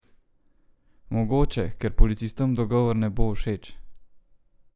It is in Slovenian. Mogoče, ker policistom dogovor ne bo všeč?